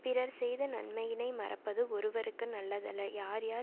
பிறர் செய்த நன்மையினை மறப்பது ஒருவற்கு நல்லதல்லல் யார் யார்